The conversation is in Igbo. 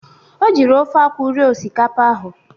O jiri ofe akwụ rie osikapa ahụ.